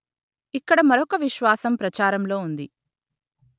ఇక్కడ మరొక విశ్వాసం ప్రచారంలో ఉంది